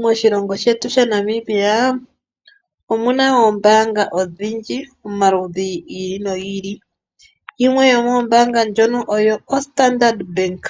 Moshilongo shetu shaNamibia, omuna oombaanga odhindji omaludhi gi ili nogi ili. Yimwe yoomoombanga ndhono oyo o Standard Bank.